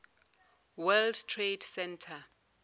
world trade center